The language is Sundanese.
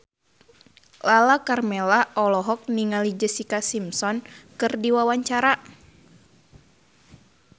Lala Karmela olohok ningali Jessica Simpson keur diwawancara